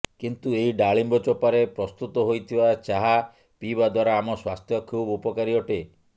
କିନ୍ତୁ ଏହି ଡ଼ାଳିମ୍ବ ଚୋପାରେ ପ୍ରସ୍ତୁତ ହୋଇଥିବା ଚାହା ପିଇବା ଦ୍ୱାରା ଆମ ସ୍ୱାସ୍ଥ୍ୟ ଖୁବ ଉପକାରୀ ଅଟେ